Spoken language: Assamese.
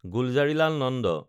গুলজাৰিলাল নন্দ